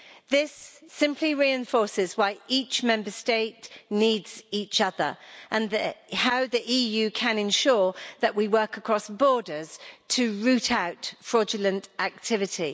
This simply reinforces why each Member State needs each other and how the EU can ensure that we work across borders to root out fraudulent activity.